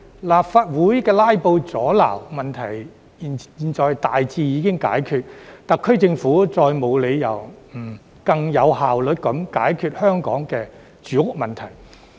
立法會"拉布"阻撓問題現已大致解決，特區政府再沒有理由不更有效率地解決香港的住屋問題。